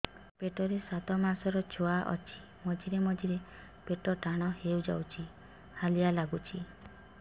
ପେଟ ରେ ସାତମାସର ଛୁଆ ଅଛି ମଝିରେ ମଝିରେ ପେଟ ଟାଣ ହେଇଯାଉଚି ହାଲିଆ ଲାଗୁଚି